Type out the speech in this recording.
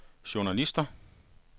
journalister